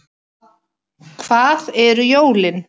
Hvað eru jólin